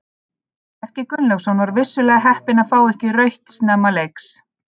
Bjarki Gunnlaugsson var vissulega heppinn að fá ekki rautt snemma leiks.